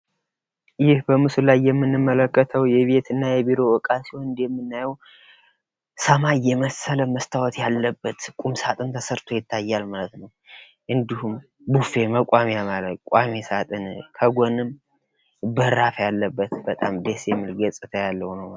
ይህ በምስሉ ላይ የምንመለከተው የቤት እና የቢሮ ዕቃ ሲሆን እንደምናየው ሰማይ የመሰለ መስታወት ያለበት ቁምሳጥን ተሰርቶ ይታያል ማለት ነው:: እንዲሁም ቡፌ መቋሚያ ያለው ቋሚ ሳጥን ከጎንም በራፍ ያለበት በጣም ደስ የሚል ገፃታ ያለበት ነው::